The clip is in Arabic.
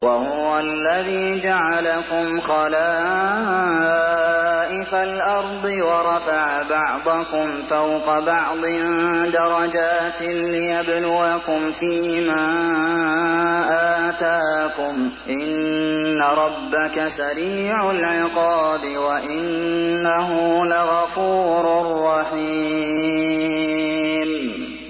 وَهُوَ الَّذِي جَعَلَكُمْ خَلَائِفَ الْأَرْضِ وَرَفَعَ بَعْضَكُمْ فَوْقَ بَعْضٍ دَرَجَاتٍ لِّيَبْلُوَكُمْ فِي مَا آتَاكُمْ ۗ إِنَّ رَبَّكَ سَرِيعُ الْعِقَابِ وَإِنَّهُ لَغَفُورٌ رَّحِيمٌ